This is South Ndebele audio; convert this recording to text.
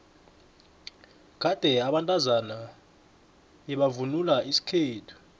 kade abantazana bebavvnula isikhethu